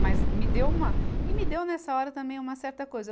Mas me deu uma, e me deu nessa hora também uma certa coisa.